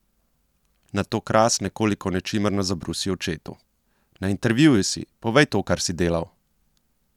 Nato Kras nekoliko nečimrno zabrusi očetu: "Na intervjuju si, povej to, kar si delal!